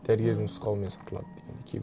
дәрігердің нұсқауымен сатылады дегендей